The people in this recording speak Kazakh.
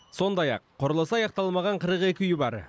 сондай ақ құрылысы аяқталмаған қырық екі үй бар